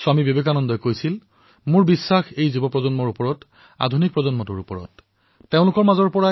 স্বামী বিবেকানন্দই কৈছিল my faith is in the younger generation the modern generation out of them will come my workers